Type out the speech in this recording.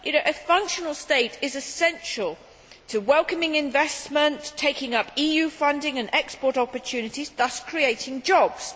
A functional state is essential to welcoming investment, taking up EU funding and export opportunities, thus creating jobs.